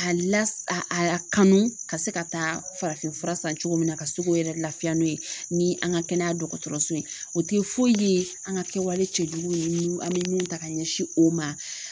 A la a a kanu ka se ka taa farafinfura san cogo min na ka se k'o yɛrɛ laafiya n'o ye ni an ka kɛnɛya dɔgɔtɔrɔso ye o tɛ foyi ye an ka kɛwale cɛjuguw ye an bɛ min ta ka ɲɛsin o ma.